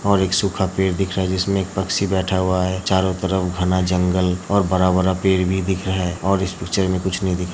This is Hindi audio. और एक सुखा पेड़ दिख रहा है जिसमें एक पंछी बैठा हुआ हैचारों तरफ घना जंगल और बरा -बरा पेड़ भी दिख रहा है। और इस पिक्चर में कुछ नहीं दिख --